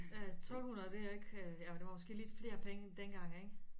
Øh 1200 det ikke ja det var måske lidt flere penge dengang ikke